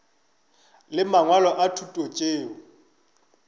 le mangwalo a thuto tšeo